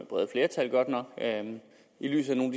bredt flertal godt nok i lyset af nogle